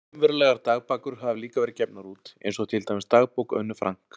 Raunverulegar dagbækur hafa líka verið gefnar út, eins og til dæmis Dagbók Önnu Frank.